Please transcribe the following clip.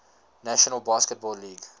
national basketball league